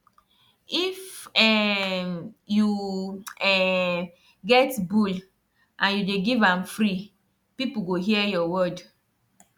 if um you um get bull and you dey give am free people go hear your word